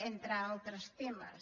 entre altres temes